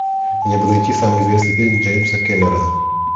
мне бы найти самый известный фильм джеймса кэмерона